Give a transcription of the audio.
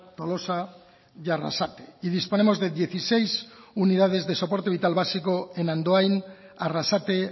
tolosa y arrasate y disponemos de dieciséis unidades de soporte vital básico en andoain arrasate